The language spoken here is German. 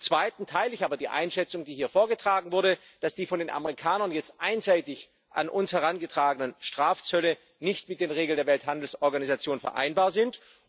Zum Zweiten teile ich aber die Einschätzung, die hier vorgetragen wurde, dass die von den Amerikanern jetzt einseitig an uns herangetragenen Strafzölle nicht mit den Regeln der Welthandelsorganisation vereinbar sind.